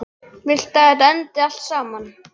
Hvar viltu að þetta endi allt saman?